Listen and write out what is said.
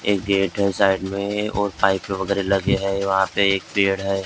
एक गेट हैं उस साइड में और पाइप वगैरह लगे हैं वहाँ पे एक पेड़ हैं ।